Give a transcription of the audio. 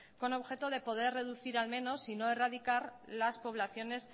con objeto de poder reducir al menos sino erradicar las poblaciones